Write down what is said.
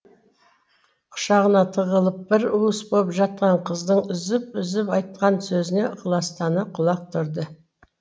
құшағына тығылып бір уыс боп жатқан қыздың үзіп үзіп айтқан сөзіне ықыластана құлақ түрді